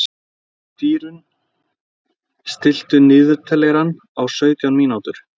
Dýrunn, stilltu niðurteljara á sautján mínútur.